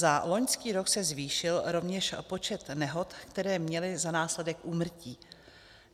Za loňský rok se zvýšil rovněž počet nehod, které měly za následek úmrtí.